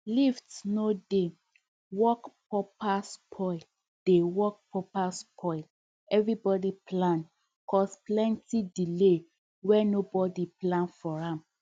lift no dey work properspoil dey work properspoil everybody plan cause plenty delay were nobody plan for am